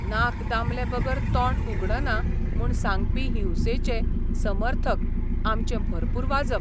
नाक दामलेबगर तोंड उगडना म्हूण सांगपी हिंसेचे समर्थक आमचें भरपूर वाजप.